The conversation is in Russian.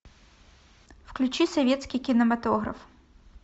включи советский кинематограф